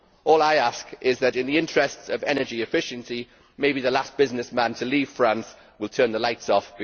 All I ask is that, in the interests of energy efficiency, maybe the last businessman to leave France will turn the lights off.